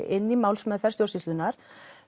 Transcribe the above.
inn í málsmeðferð stjórnsýslunnar